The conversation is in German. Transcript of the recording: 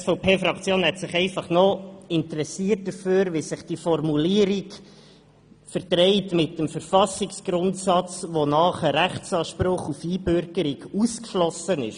Die SVP-Fraktion hat sich noch dafür interessiert, wie sich diese Formulierung mit dem Verfassungsgrundsatz verträgt, wonach ein Rechtsanspruch auf Einbürgerung ausgeschlossen ist.